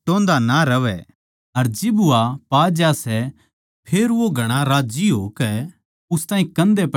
अर जिब पा ज्या सै फेर वो घणा राज्जी होकै उस ताहीं कंधे पै ठा लेवै सै